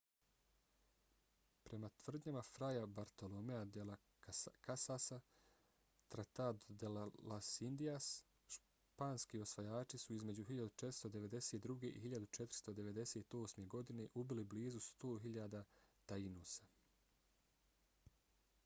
prema tvrdnjama fraya bartoloméa de las casasa tratado de las indias španski osvajači su između 1492. i 1498. godine ubili blizu 100.000 taínosa